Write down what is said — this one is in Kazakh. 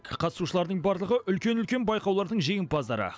қатысушылардың барлығы үлкен үлкен байқаулардың жеңімпаздары